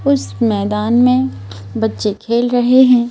उस मैदान में बच्चे खेल रहे हैं।